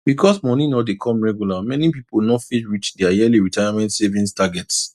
because moni no dey come regular many people no fit reach their yearly retirement savings target